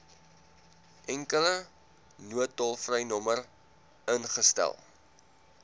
enkele noodtolvrynommer ingestel